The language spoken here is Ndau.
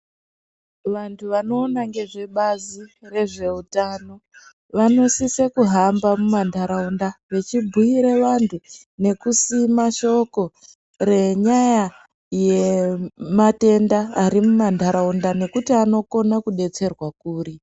Vantu vanowona ngezvebazi rezvehutano, vanosise kuhamba mumantaraunda vechibhuyire vantu ,nekusima shoko ngenyaya yemantenda arimumamntaraunda nekuti anokona kudetserwa kuri.